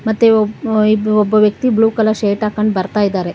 ಮತ್ತೆ ಒ ಇಬ್ಬ ವ್ಯಕ್ತಿ ಬ್ಲೂ ಕಲರ್ ಶರ್ಟ್ ಹಾಕೊಂಡ್ ಬರ್ತಾ ಇದ್ದಾರೆ.